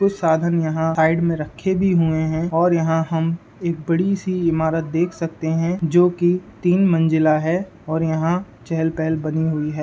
कुछ साधन यहां साइड में रखें भी हुएं हैं और यहां हम एक बड़ी सी इमारत देख सकते हैं जोकि तीन मंजिला है और यहाँ चहल-पहल बनी हुई है।